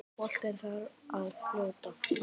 Boltinn þar að fljóta.